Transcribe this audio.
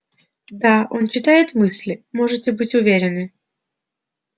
да он читает мысли можете быть уверены